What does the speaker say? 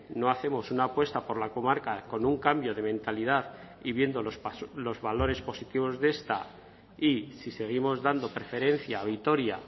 no hacemos una apuesta por la comarca con un cambio de mentalidad y viendo los valores positivos de esta y si seguimos dando preferencia a vitoria